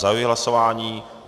Zahajuji hlasování.